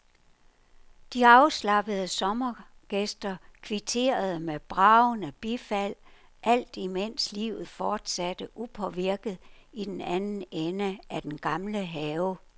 De afslappede sommergæster kvitterede med bragende bifald, alt imens livet fortsatte upåvirket i den anden ende af den gamle have.